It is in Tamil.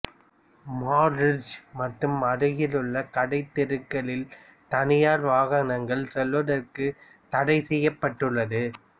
மால் ரிட்ஜ் மற்றும் அருகிலுள்ள கடைத்தெருக்களில் தனியார் வாகனங்கள் செல்லுவதற்குத் தடை செய்யப்பட்டுள்ளது